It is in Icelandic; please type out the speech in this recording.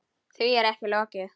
Því er ekki lokið.